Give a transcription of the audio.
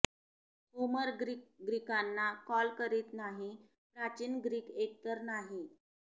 Homer Greek ग्रीकांना call करीत नाही प्राचीन ग्रीक एकतर नाही